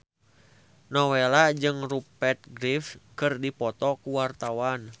Nowela jeung Rupert Graves keur dipoto ku wartawan